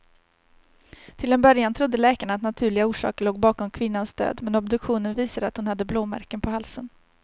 Till en början trodde läkarna att naturliga orsaker låg bakom kvinnans död, men obduktionen visade att hon hade blåmärken på halsen.